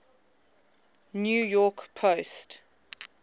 new york post